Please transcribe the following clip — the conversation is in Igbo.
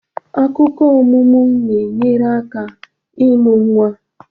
Akụkụ ọmụmụ na-enyere aka ịmụ nwa.